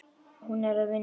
Hún er að vinna núna.